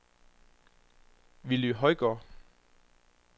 Willy Højgaard